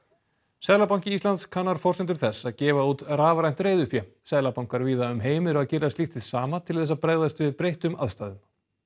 seðlabanki Íslands kannar forsendur þess að gefa út rafrænt reiðufé seðlabankar víða um heim eru að gera slíkt hið sama til þess að bregðast við breyttum aðstæðum